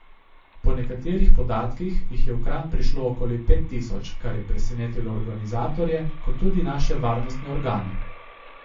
Po nekaterih podatkih jih je v Kranj prišlo okoli pet tisoč, kar je presenetilo organizatorje kot tudi naše varnostne organe.